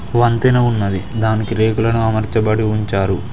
వంతెన ఉన్నది దానికి రేకులని అమర్చబడి ఉంచారు.